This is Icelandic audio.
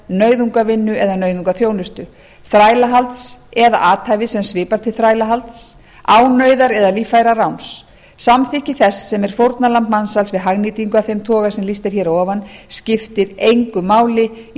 nauðungarvinnu eða nauðungarþjónustu þrælahalds eða athæfis sem svipar til þrælahalds ánauðar eða líffæranáms samþykki þess sem er fórnarlamb mansals við hagnýtingu af þeim toga sem lýst er hér að ofan skiptir engu máli í